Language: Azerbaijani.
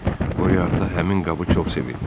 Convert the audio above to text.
Qoria ata həmin qabı çox sevirdi.